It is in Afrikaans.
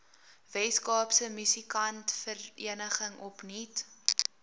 weskaapse musikantevereniging opnuut